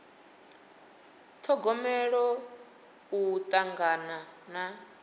ṱhogomela u tangana na